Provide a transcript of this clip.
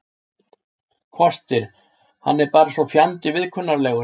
Kostir: Hann er bara svo fjandi viðkunnanlegur.